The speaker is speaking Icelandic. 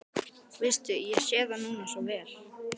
Veistu, ég sé það núna svo vel.